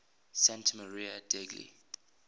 santa maria degli